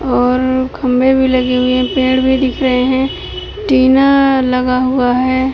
और खंभे भी लगे हुए हैं। पेड़ भी दिख रहे हैं। टिना लगा हुआ है।